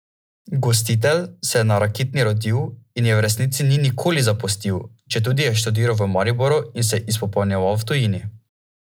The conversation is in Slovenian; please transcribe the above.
Gostitelj se je na Rakitni rodil in je v resnici ni nikoli zapustil, četudi je študiral v Mariboru in se izpopolnjeval v tujini.